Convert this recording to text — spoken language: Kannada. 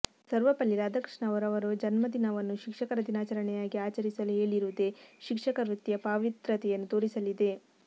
ಸರ್ವಪಲ್ಲಿ ರಾಧಕೃಷ್ಣ ಅವರು ಅವರ ಜನ್ಮ ದಿನವನ್ನು ಶಿಕ್ಷಕರ ದಿನಾಚರಣೆಯನ್ನಾಗಿ ಆಚರಿಸಲು ಹೇಳಿರುವುದೇ ಶಿಕ್ಷಕ ವೃತ್ತಿಯ ಪಾವಿತ್ರ್ಯತೆಯನ್ನು ತೋರಿಸಲಿದೆ